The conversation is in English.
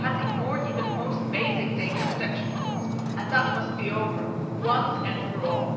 It has ignored even the most basic data protection rules, and that must be over, once and for all.